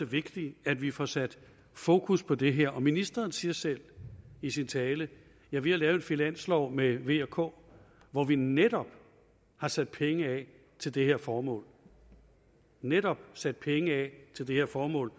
vigtigt at vi får sat fokus på det her ministeren siger selv i sin tale ja vi har lavet en finanslov med v og k hvor vi netop har sat penge af til det her formål netop sat penge af til det her formål